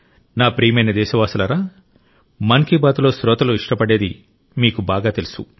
నా ప్రియమైన దేశవాసులారా మన్ కీ బాత్లో శ్రోతలు ఇష్టపడేది మీకు బాగా తెలుసు